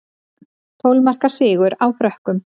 Tólf marka sigur á Frökkum